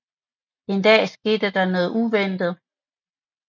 En dag sker der noget uventet